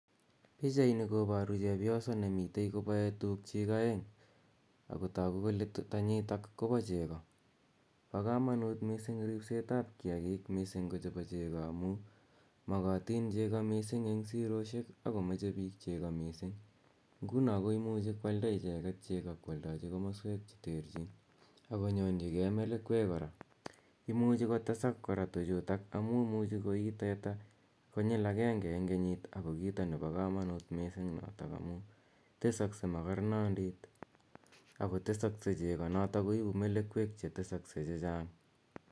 Pichaini koparu chepyoso ne mitei kopae tuugchik aeng' ako tagu kole tanyitak ko pa cheko. Pa kamanut missing' rispset ap kiakiik, missing' ko chepo cheko, amu makatin cheko missing' eng' siroshek ako mache cheko missing'. Ngu ko imuchi koalda icheget cheko ko aldachi komaswek che terchin ak konyorchigei melekwek kora. Imuchi kotesak kora tuchutak amu imuchi koii teta konyil agenge eng' kenyit ako kita nepa kamanut notok missing' amu tesaksei makarnondit ako tesakse cheko notok koipu melekwek che tesakse che chang'.